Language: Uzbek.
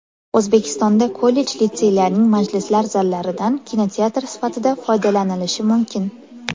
O‘zbekistonda kollej-litseylarning majlislar zallaridan kinoteatr sifatida foydalanilishi mumkin.